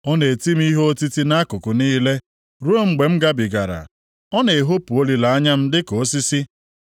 Ọ na-eti m ihe otiti nʼakụkụ niile, ruo mgbe m gabigara; ọ na-ehopu olileanya m dịka osisi.